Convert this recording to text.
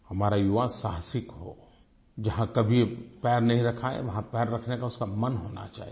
हमारा युवा साहसिक हो जहाँ कभी पैर नहीं रखा है वहाँ पैर रखने का उसका मन होना चाहिए